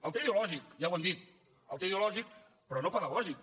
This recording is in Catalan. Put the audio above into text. el té ideològic ja ho hem dit el té ideològic però no pedagògic